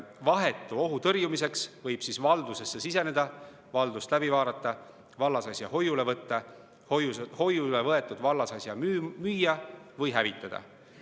Vahetu ohu tõrjumiseks võib valdusesse siseneda, valdust läbi vaadata, vallasasja hoiule võtta, hoiule võetud vallasasja müüa või hävitada.